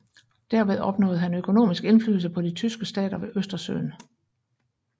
Derved opnåede han økonomisk indflydelse på de tyske stater ved Østersøen